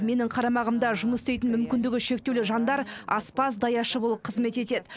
менің қарамағымда жұмыс істейтін мүмкіндігі шектеулі жандар аспаз даяшы болып қызмет етеді